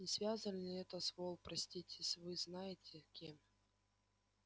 не связано ли это с вол простите с вы знаете кем